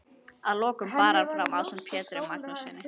Að lokum bar hann fram ásamt Pjetri Magnússyni